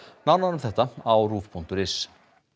nánar um þetta á ruv punktur is